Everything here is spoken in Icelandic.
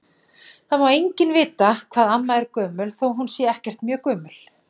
Það má enginn vita hvað amma er gömul þó að hún sé ekkert mjög gömul.